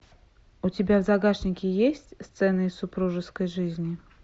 у тебя в загашнике есть сцены из супружеской жизни